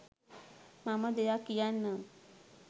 මම දෙයක් කියන්නම්